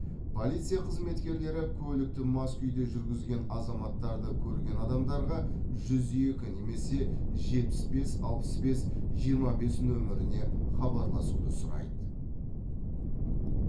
полиция қызметкерлері көлікті мас күйде жүргізген азаматтарды көрген адамдарға жүз екі немесе жетпіс бес алпыс бес жиырма бес нөміріне хабарласуды сұрайды